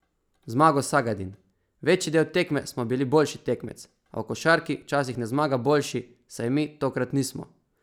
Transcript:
Zmago Sagadin: "Večji del tekme smo bili boljši tekmec, a v košarki včasih ne zmaga boljši, saj mi tokrat nismo.